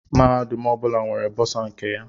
Mahadum ọbụla nwere bọsa nke ha.